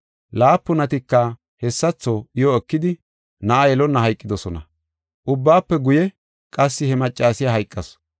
Laapunatika hessatho iyo ekidi, na7a yelonna hayqidosona. Ubbaafe guye, qassi he maccasiya hayqasu.